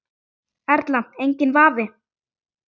Erla: Enginn vafi?